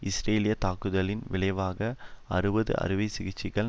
இஸ்ரேலியத் தாக்குதலின் விளைவாக அறுபது அறுவை சிகிச்சைகள்